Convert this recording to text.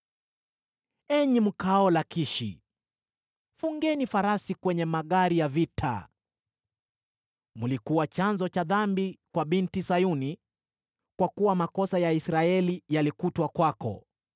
Enyi mkaao Lakishi, fungeni farasi kwenye magari ya vita. Mlikuwa chanzo cha dhambi kwa Binti Sayuni, kwa kuwa makosa ya Israeli yalikutwa kwako.